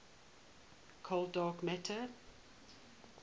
cold dark matter